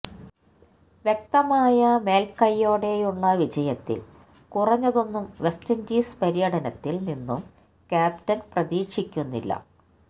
വ്യക്തമായ മേൽക്കൈയോടെയുള്ള വിജയത്തിൽ കുറഞ്ഞതൊന്നും വെസ്റ്റ് ഇൻഡീസ് പര്യടനത്തിൽ നിന്നും ക്യാപ്റ്റൻ പ്രതീക്ഷിക്കുന്നില്ല